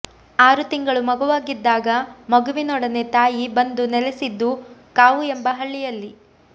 ಆರು ತಿಂಗಳು ಮಗುವಾಗಿದ್ದಾಗ ಮಗುವಿನೊಡನೆ ತಾಯಿ ಬಂದು ನೆಲೆಸಿದ್ದು ಕಾವು ಎಂಬ ಹಳ್ಳಿಯಲ್ಲಿ